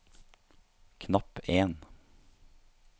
knapp en